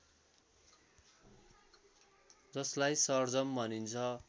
जस्लाई सर्जम भनिन्छ